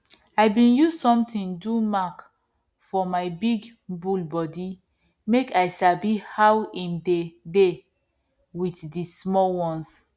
i bin use something do mark for my big bull body make i sabi how him dey dey with the small ones